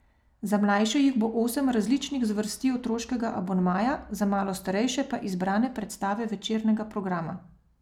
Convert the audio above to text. Za mlajše jih bo osem različnih zvrsti otroškega abonmaja, za malo starejše pa izbrane predstave večernega programa.